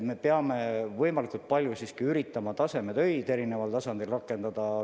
Me peame võimalikult palju üritama erineval tasemel tasemetöid rakendada.